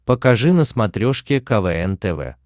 покажи на смотрешке квн тв